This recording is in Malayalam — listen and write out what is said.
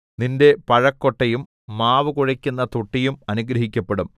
നിന്റെ പഴ കൊട്ടയും മാവു കുഴക്കുന്ന തൊട്ടിയും അനുഗ്രഹിക്കപ്പെടും